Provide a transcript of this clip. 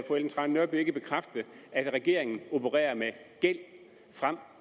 ellen trane nørby ikke bekræfte at regeringen opererer med gæld frem